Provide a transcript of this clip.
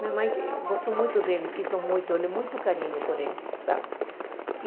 Minha mãe gostou muito dele, quis muito, muito carinho por ele, sabe?